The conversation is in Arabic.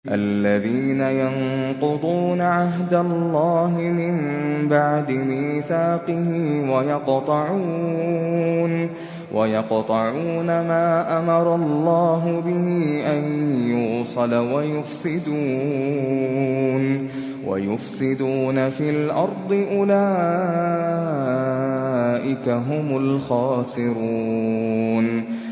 الَّذِينَ يَنقُضُونَ عَهْدَ اللَّهِ مِن بَعْدِ مِيثَاقِهِ وَيَقْطَعُونَ مَا أَمَرَ اللَّهُ بِهِ أَن يُوصَلَ وَيُفْسِدُونَ فِي الْأَرْضِ ۚ أُولَٰئِكَ هُمُ الْخَاسِرُونَ